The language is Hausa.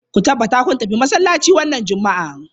Ku tabbata kun tafi masallaci wannan Juma'a.